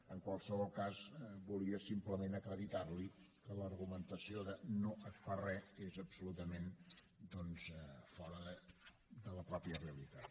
en qualsevol cas volia simplement acreditar li que l’argumentació de no es fa res és absolutament fora de la pròpia realitat